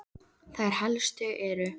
Þær helstu eru